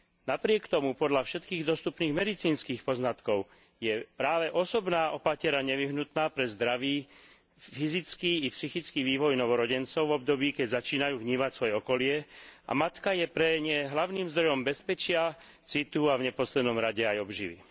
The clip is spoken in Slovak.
Napriek tomu podľa všetkých dostupných medicínskych poznatkov je práve osobná opatera nevyhnutná pre zdravý fyzický i psychický vývoj novorodencov v období, keď začínajú vnímať svoje okolie a matka je pre ne hlavným zdrojom bezpečia, citu a v neposlednom rade aj obživy.